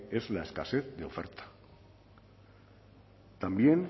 es la escasez de oferta también